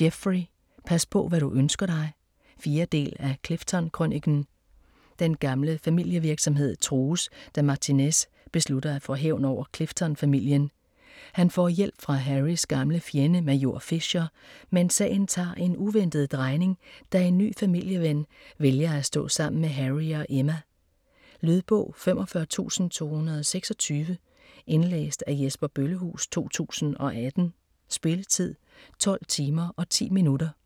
Jeffrey: Pas på hvad du ønsker dig 4. del af Clifton-krøniken. Den gamle familievirksomhed trues, da Martinez beslutter at få hævn over Clifton familien. Han får hjælp fra Harrys gamle fjende Major Fisher, men sagen tager en uventet drejning, da en ny familieven vælger at stå sammen med Harry og Emma. Lydbog 45226 Indlæst af Jesper Bøllehuus, 2018. Spilletid: 12 timer, 10 minutter.